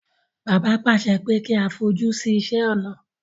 Bàbá pàṣẹ pé kí a fojú sí iṣé ọnà.